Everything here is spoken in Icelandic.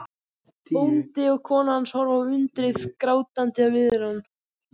Bóndi og kona hans horfa á undrið, grátandi af iðran.